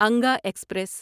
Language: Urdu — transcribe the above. انگا ایکسپریس